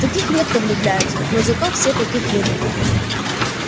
в таких редко влюбляются но зато все таких любят